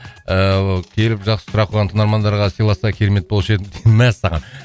ыыы келіп жақсы сұрақ қойған тыңдармандарға сыйласа керемет болушы еді мәссаған